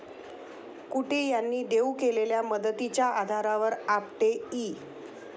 कुंटे यांनी देऊ केलेल्या मदतीच्या आधारावर आपटे इ.